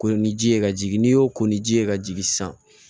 Ko ni ji ye ka jigin n'i y'o ko ni ji ye ka jigin sisan